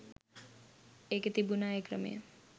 ඒකෙ තිබුණා ඒ ක්‍රමය